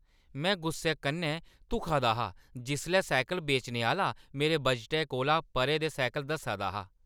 में गुस्से कन्नै धुखा दा हा जिसलै साइकल बेचने आह्‌‌‌ला मेरे बजटै कोला परे दे साइकल दस्सा दा हा।